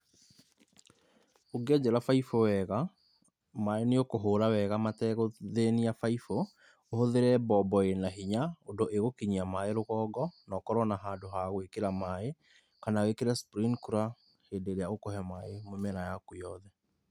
Ũngĩenjera baibũ wega, maĩ nĩ ũkũhura wega mategũthĩnia baibũ, ũhũthĩre bobo ĩna hinya ũndũ ĩgũkinyia maĩ rũgongo na ũkorwo na handũ ha gwĩkĩra maĩ kana wĩkĩre sprinkler, hĩndĩ ĩrĩa ũkũhe maĩ mĩmera yaku yothe.